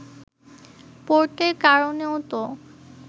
“পোর্টের কারণেও তো